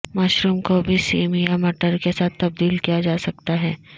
mushroom کو بھی سیم یا مٹر کے ساتھ تبدیل کیا جا سکتا ہے